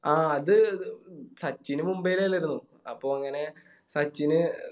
ആ അത് സച്ചിന് മുംബൈലല്ലേ വന്നിക്കുണു അപ്പൊ അങ്ങനെ സച്ചിന്